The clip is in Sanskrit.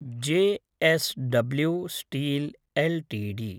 JSW steel LTD